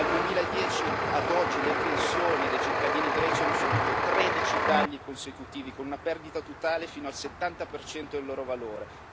Dal 2010 ad oggi le pensioni dei cittadini greci hanno subìto 13 tagli consecutivi, con una perdita totale fino al 70 del loro valore.